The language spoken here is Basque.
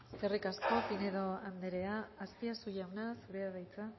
eskerrik asko pinedo anderea azpiazu jauna zurea da hitza